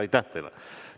Aitäh teile!